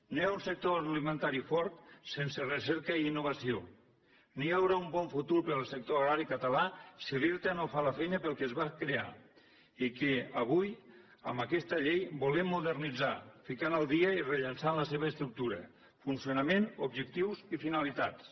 no hi ha un sector agroalimentari fort sense recerca i innovació ni hi haurà un bon futur per al sector agrari català si l’irta no fa la feina per a la qual es va crear i que avui amb aquesta llei volem modernitzar ficant al dia i rellançant la seva estructura funcionament objectius i finalitats